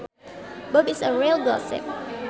Bob is a real gossip